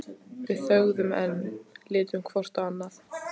Við þögðum enn, litum hvort á annað.